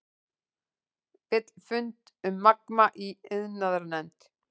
Vill fund um Magma í iðnaðarnefnd